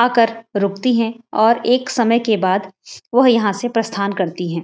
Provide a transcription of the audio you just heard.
आकर रुकती हैं और एक समय के बाद वो यहाँ से प्रस्थान करती हैं।